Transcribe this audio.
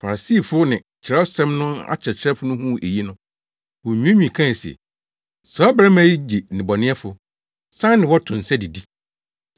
Farisifo ne Kyerɛwsɛm no akyerɛkyerɛfo no huu eyi no, wonwiinwii kae se, “Saa ɔbarima yi gye nnebɔneyɛfo, san ne wɔn to nsa didi.”